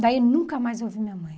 Daí nunca mais eu vi minha mãe.